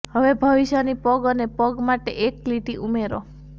હવે ભવિષ્યની પગ અને પગ માટે એક લીટી ઉમેરો